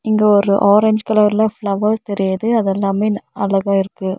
இங்க ஒரு ஆரஞ்சு கலர்ல ஃபிளவர்ஸ் தெரியிது அதெல்லாமே ன் அழகா இருக்கு.